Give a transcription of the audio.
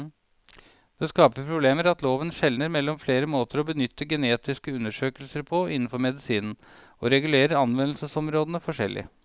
Det skaper problemer at loven skjelner mellom flere måter å benytte genetiske undersøkelser på innenfor medisinen, og regulerer anvendelsesområdene forskjellig.